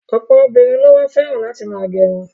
Ọ̀pọ̀ obìnrin ló wá fẹ́ràn láti ma gẹrun.